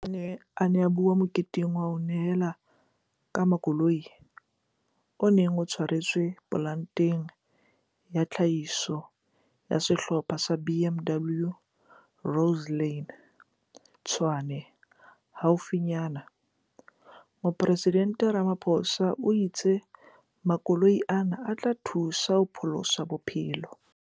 Ha a ne a bua moketeng wa ho nehelana ka makoloi, o neng o tshwaretswe polanteng ya tlhahiso ya Sehlopha sa BMW Rosslyn, Tshwane, haufinyana, Moporesidente Ramaphosa o itse makoloi ana a tla thusa ho pholosa bophelo.